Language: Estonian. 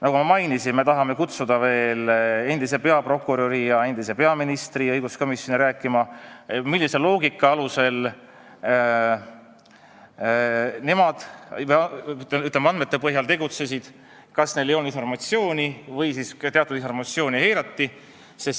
Nagu ma mainisin, me tahame kutsuda endise peaprokuröri ja endise peaministri õiguskomisjoni rääkima, millise loogika alusel või milliste andmete põhjal nemad tegutsesid, kas neil ei olnud informatsiooni või kas teatud informatsiooni eirati.